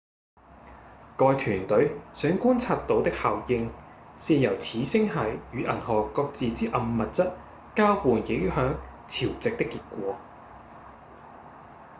該團隊想觀察到的效應是由此星系與銀河各自之暗物質交互影響潮汐的結果